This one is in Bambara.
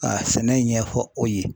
a sɛnɛ ɲɛfɔ o ye.